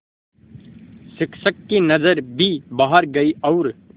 शिक्षक की नज़र भी बाहर गई और